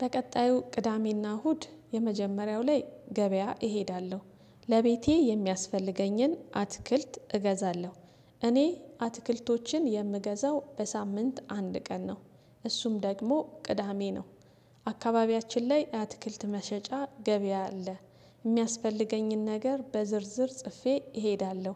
በቀጣዩ ቅዳሜና እሁድ የመጀመሪያው ላይ ገበያ እሄዳለ፦ ለቤቴ የሚያስፈልገኝን አትክልት እገዛለሁ እኔ አትክልቶችን የምገዛው በሳምንት አንድ ቀን፣ ነው እሱም ደግሞ ቅዳሜ ነው። አካባቢያችን ላይ አትክልት መሸጫ ገበያ አለ። የሚያስፈልገኝን ነገር በዝርዝር ጽፌ እሄዳለሁ።